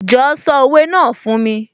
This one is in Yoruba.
Jọ̀ọ́ sọ òwe náà fún mi?